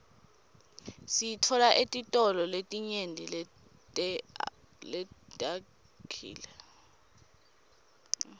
siyitfola etitolo letinyenti leteawkile